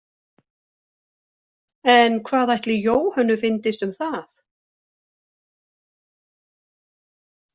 En hvað ætli Jóhönnu fyndist um það?